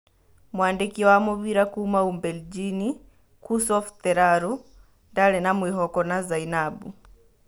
Mwandĩki wa mũbĩra kuuma Umbelginji Kusof Teraru ndarĩ na mwĩhoko na Zainabu.